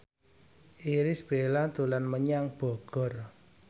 Irish Bella dolan menyang Bogor